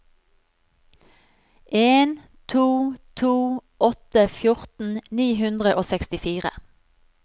en to to åtte fjorten ni hundre og sekstifire